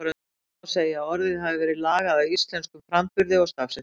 Því má segja að orðið hafi verið lagað að íslenskum framburði og stafsetningu.